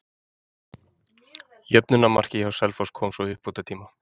Jöfnunarmarkið hjá Selfoss kom svo í uppbótartíma.